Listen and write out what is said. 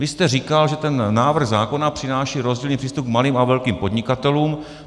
Vy jste říkal, že ten návrh zákona přináší rozdílný přístup k malým a velkým podnikatelům.